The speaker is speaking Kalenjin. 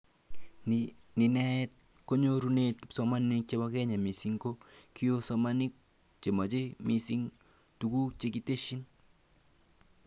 Ni neetee nyorunet kipsomanink chebo Kenya, mising ko kiosomanink chemache mising tuguk chekitesyi